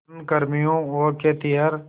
खनन कर्मियों और खेतिहर